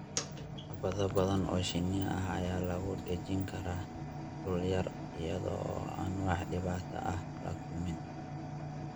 Xabado badan oo shinni ah ayaa lagu dhejin karaa dhul yar iyada oo aan wax dhibaato ah la kulmin.